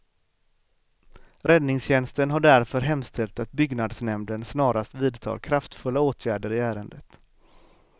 Räddningstjänsten har därför hemställt att byggnadsnämnden snarast vidtar kraftfulla åtgärder i ärendet.